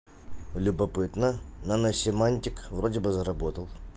любопытно наносемантик вроде бы заработал